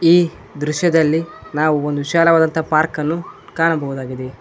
ಈ ದೃಶ್ಯದಲ್ಲಿ ನಾವು ಒಂದು ವಿಶಾಲವಾದಂತಹ ಪಾರ್ಕ್ ಅನ್ನು ಕಾಣಬಹುದಾಗಿದೆ.